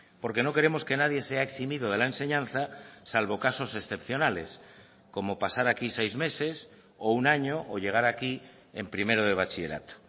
porque no queremos que nadie sea eximido de la enseñanza salvo casos excepcionales como pasar aquí seis meses o un año o llegar aquí en primero de bachillerato